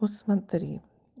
вот смотри